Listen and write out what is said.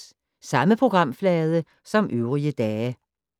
Samme programflade som øvrige dage